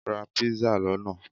Ra pizza lona